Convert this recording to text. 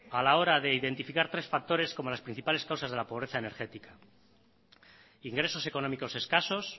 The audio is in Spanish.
a la hora de identificar tres factores como las principales causas de la pobreza energética ingresos económicos escasos